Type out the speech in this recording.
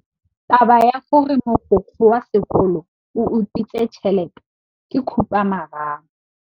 Taba ya gore mogokgo wa sekolo o utswitse tšhelete ke khupamarama.